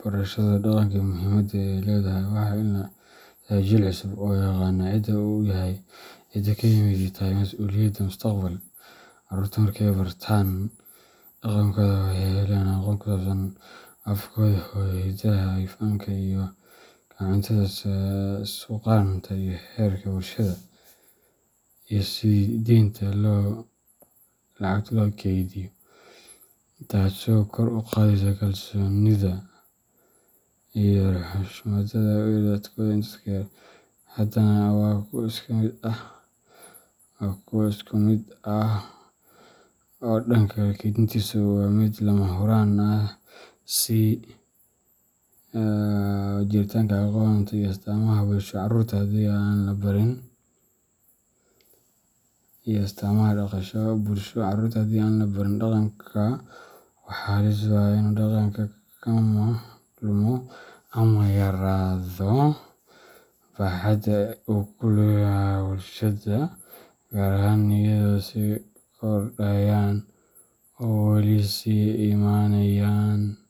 barashada dhaqanka iyo muhiimadda uu leeyahay, waxaa la dhisayaa jiil cusub oo yaqaan cidda uu yahay, cidda uu ka yimid, iyo waxa ay tahay mas’uuliyadiisa mustaqbalka. Carruurta marka ay bartaan dhaqankooda waxay helayaan aqoon ku saabsan afkooda hooyo, hidaha, fanka, ciyaaraha dhaqameed, dharka, cuntada, suugaanta iyo xeerarka bulshada, taasoo kor u qaadaysa kalsoonida naftooda iyo xushmadda ay u hayaan dadkooda iyo dadkale. Dhaqanka kaydintiisu waa mid lama huraan u ah sii jiritaanka aqoonta iyo astaamaha bulsho. Carruurta haddii aan la barin dhaqanka, waxaa halis u ah inuu dhaqanku lumo ama yaraado baaxadda uu ku leeyahay bulshada, gaar ahaan iyadoo ay sii kordhayaan ,oo wali si imanayan .